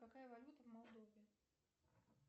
какая валюта в мордовии